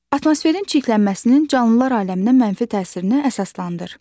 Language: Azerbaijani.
Atmosferin çirklənməsinin canlılar aləminə mənfi təsirini əsaslandır.